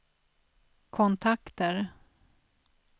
kontakter